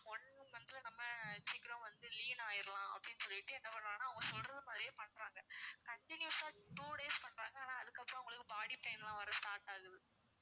one month ல நம்ப சிக்கரோம் வந்து lean ஆகிடலாம் அப்படின்னு சொல்லிட்டு என்ன பண்றாங்கன்னா அவங்க சொல்றது மாதிரியே பண்றாங்க continuous ஆ two days பண்றாங்க ஆனா அதுக்கு அப்பறோம் அவங்களுக்கு body pain லாம் வர்ற start ஆகுது